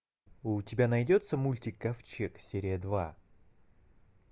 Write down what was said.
у тебя найдется мультик ковчег серия два